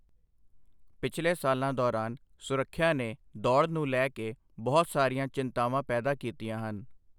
ਪਿਛਲੇ ਸਾਲਾਂ ਦੌਰਾਨ ਸੁਰੱਖਿਆ ਨੇ ਦੌੜ ਨੂੰ ਲੈ ਕੇ ਬਹੁਤ ਸਾਰੀਆਂ ਚਿੰਤਾਵਾਂ ਪੈਦਾ ਕੀਤੀਆਂ ਹਨ।